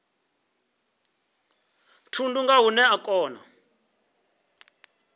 thundu nga hune a kona